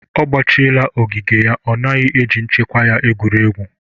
Ọ gbachịela ogige ya; ọ naghị eji nchekwa ya egwuri egwu